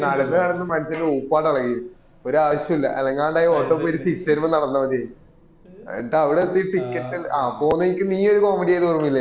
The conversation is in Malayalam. നടന്നു നടന്നു മനുഷ്യന്റെ ഊപ്പാട് ഇളകി ഒരു ആവശ്യം ഇല്ല അനങ്ങാണ്ട് അയെ auto പിടിച് തിരിച് വരുമ്പോൾ നടന്നമതിയെനും എന്നിട്ട് അവിട എത്തീട്ട് ticket പോവുന്ന വഴിക്ക് നീ ഒരു comedy തള്ളിയെ ഓർമ ഇല്ലേ